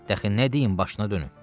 Dəxi nə deyim başına dönüm?